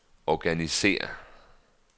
organisér